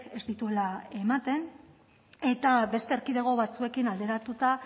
ez dituela ematen eta beste erkidego batzuekin alderatuta